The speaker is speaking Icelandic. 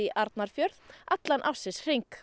Arnarfjörð allan ársins hring